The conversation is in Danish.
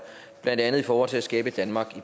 blandt andet i forhold til at skabe et danmark